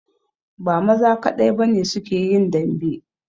Ba maza kadai ba ne su ke yin dambe